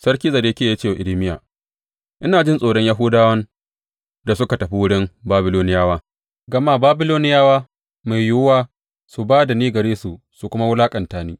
Sarki Zedekiya ya ce wa Irmiya, Ina jin tsoron Yahudawan da suka tafi wurin Babiloniyawa, gama Babiloniyawa mai yiwuwa su ba da ni gare su su kuma wulaƙanta ni.